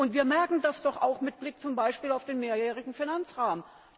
Wir merken das doch auch mit Blick zum Beispiel auf den Mehrjährigen Finanzrahmen.